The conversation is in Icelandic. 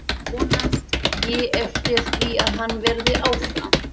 Vonast ég eftir því að hann verði áfram?